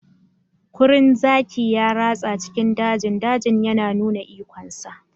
Kurin zaki ya ratsa cikin dajin dajin yana nuna ikonsa.